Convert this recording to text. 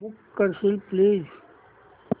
book करशील please